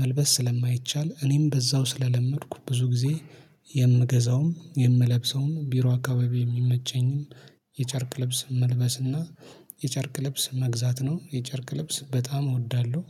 መልበስ ስለማይቻል እኔም በዛው ስለለመድኩ ብዙ ጊዜ የምገዛውም የምለብሰውም ቢሮ አካባቢ የሚመቸኝም የጨርቅ ልብስ መልበስና የጨርቅ ልብስ መግዛት ነው። የጨርቅ ልብስ በጣም እወዳለሁ